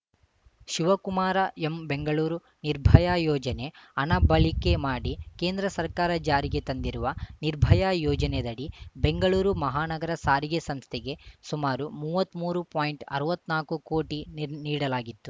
Shivakumara M Bengaluru Nirbhaya ಯೋಜನೆ ಹಣ ಬಳಿಕೆ ಮಾಡಿ ಕೇಂದ್ರ ಸರ್ಕಾರ ಜಾರಿಗೆ ತಂದಿರುವ ನಿರ್ಭಯಾ ಯೋಜನೆದಡಿ ಬೆಂಗಳೂರು ಮಹಾನಗರ ಸಾರಿಗೆ ಸಂಸ್ಥೆಗೆ ಸುಮಾರು ಮೂವತ್ತ್ಮೂರು ಪಾಯಿಂಟ್ ಅರ್ವತ್ನಾಲ್ಕು ಕೋಟಿ ನೀಡ್ ನೀಡಲಾಗಿತ್ತು